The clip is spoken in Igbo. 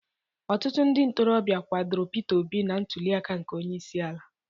Ọtụtụ ndị ntorobịa kwadoro Pita Obi na ntulịaka nke Onyeisiala.